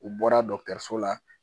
U bɔra dɔkitɛriso la